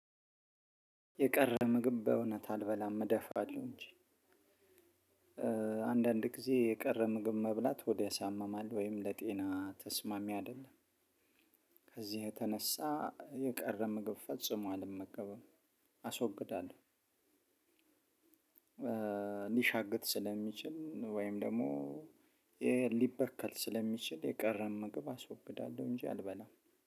የቀረ ምግብ በእውነት አልበላም እደፋለሁ እንጂ አንዳንድ ጊዜ የቀረ ምግብ መብላት ሆድ ያሳምማል ወይም ለጤና ተስማሚ አይደለም። ከዚህ የተነሳ የቀረ ምግብ ፈጽሞ አልመገበም አስወግዳለሁ። ሊሻግት ስለሚችል ወይም ደግሞ ሊበከል ስለሚችል የቀረን ምግብ አስወግዳለሁ። እንጂ አልበላም